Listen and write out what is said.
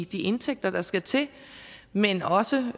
de indtægter der skal til men også